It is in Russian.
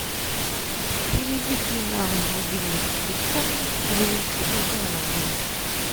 переведи на мобильный телефон веронике ивановне